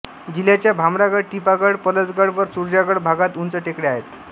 जिल्ह्याच्या भामरागड टिपागड पलसगड व सुरजागड भागात उंच टेकड्या आहेत